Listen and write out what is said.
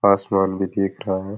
आसमान भी दिख रहा है।